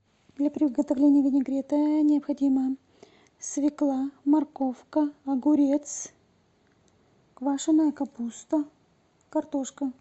для приготовления винегрета необходимо свекла морковка огурец квашеная капуста картошка